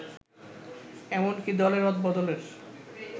এমনকি দলে রদবদলের